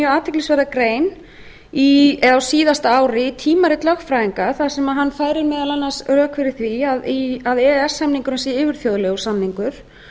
athyglisverða grein a síðasta ári í tímarit lögfræðinga þar sem hann færir meðal annars rök fyrir því að e e s samningurinn sé yfirþjóðlegur samningur